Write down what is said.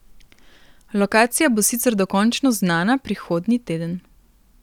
Lokacija bo sicer dokončno znana prihodnji teden.